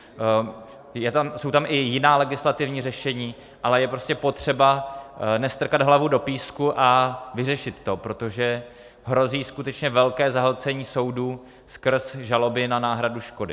Jsou tam i jiná legislativní řešení, ale je prostě potřeba nestrkat hlavu do písku a vyřešit to, protože hrozí skutečně velké zahlcení soudů skrz žaloby na náhradu škody.